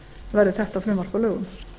verði þetta frumvarp að lögum